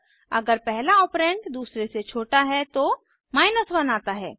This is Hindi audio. अगर पहला ऑपरेंड दूसरे से छोटा है तो 1 आता है